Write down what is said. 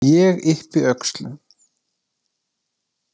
Ég yppi öxlum.